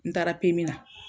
N taara na